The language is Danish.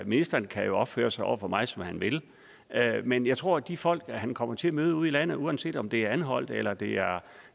ministeren kan jo opføre sig over for mig som han vil men jeg tror at de folk som han kommer til at møde ude i landet uanset om det er anholt eller det er